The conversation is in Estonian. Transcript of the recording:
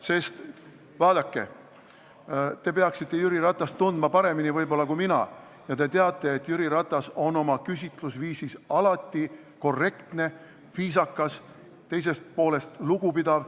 Sest vaadake, te peaksite Jüri Ratast tundma võib-olla paremini kui mina ja te teate, et Jüri Ratas on oma küsitlusviisis alati korrektne, viisakas, teisest poolest lugupidav.